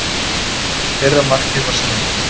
Fyrra markið var snilld.